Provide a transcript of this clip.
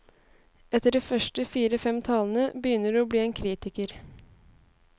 Etter de første fire, fem talene begynner du å bli en kritiker.